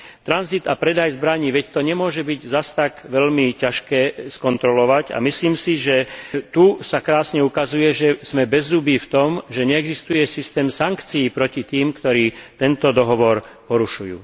Tranzit a predaj zbraní, veď to nemôže byť zas tak veľmi ťažké skontrolovať a myslím si, že tu sa krásne ukazuje, že sme bezzubí v tom, že neexistuje systém sankcií proti tým, ktorí tento dohovor porušujú.